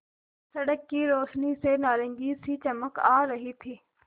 सड़क की रोशनी से नारंगी सी चमक आ रही थी